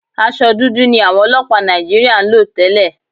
Aṣọ dúdú ni àwọn ọlọ́pàá Nàìjííríà ń lò tẹ́lẹ̀